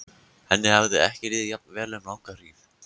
Henni hafði ekki liðið jafn vel um langa hríð.